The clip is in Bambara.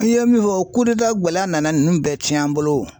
N ye min fɔ o gɛlɛya nana ninnu bɛɛ tiɲɛ an bolo .